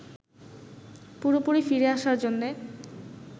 পুরোপুরি ফিরে আসার জন্যে